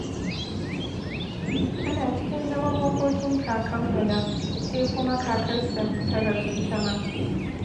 Ana cikin zaman makokin kakan Bala, sai kuma kakarsa ta rasu ita ma.